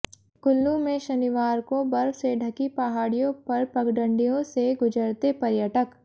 कुल्लू में शनिवार को बर्फ से ढकी पहाड़ियों पर पगडंडियों से गुजरते पर्यटक